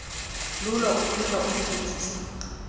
lulo lenkcitho ukuzinzisa